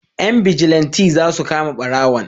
Yan bijilanti za su kama barawon